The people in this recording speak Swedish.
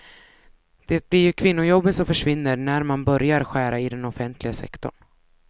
Det blir ju kvinnojobben som försvinner när man börjar skära i den offentliga sektorn.